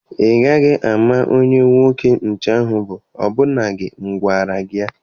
Ị gaghị ama onye nwoke nche ahụ bụ ọbụnadi na m agwara gị.